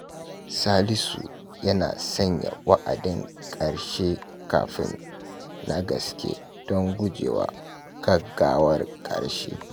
Salisu yana sanya wa’adin karshe kafin na gaske don guje wa gaggawar karshe.